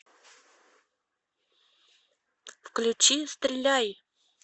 включи стреляй